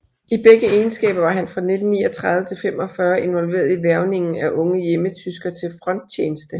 I begge egenskaber var han fra 1939 til 45 involveret i hvervningen af unge hjemmetyskere til fronttjeneste